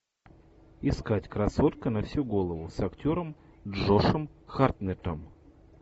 искать красотка на всю голову с актером джошем хартнеттом